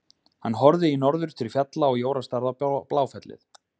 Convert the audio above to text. Hann horfði í norður til fjalla og Jóra starði á Bláfellið.